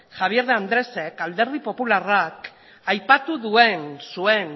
javier de andresek alderdi popularrak aipatu zuen